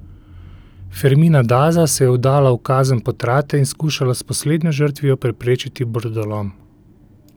Fermina Daza se je vdala v kazen potrate in skušala s poslednjo žrtvijo preprečiti brodolom.